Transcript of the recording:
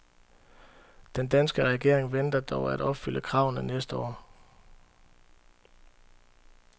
Den danske regering venter dog at opfylde kravene næste år.